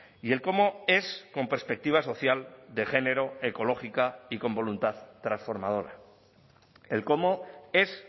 y el cómo es con perspectiva social de género ecológica y con voluntad transformadora el cómo es